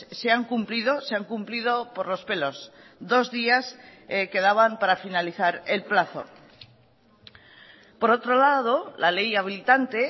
se han cumplido se han cumplido por los pelos dos días quedaban para finalizar el plazo por otro lado la ley habilitante